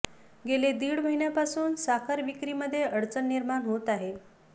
गेले दीड महिन्यापासून साखर विक्रीमध्ये अडचणी निर्माण होत आहे